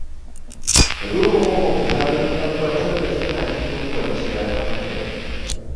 Ka duba makwabta don tabbatar da suna cikin kwanciyar hankali.